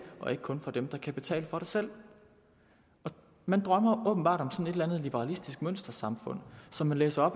og ikke kun for dem der kan betale for det selv man drømmer åbenbart om et eller andet liberalistisk mønstersamfund som man læser